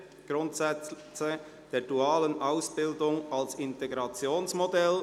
«Grundsätze der dualen Ausbildung als Integrationsmodell».